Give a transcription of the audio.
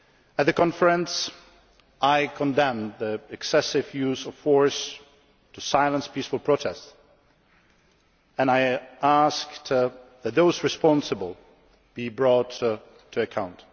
At the conference I condemned the excessive use of force to silence peaceful protests and asked for those responsible to be brought to account.